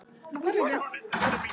Þak var ekkert.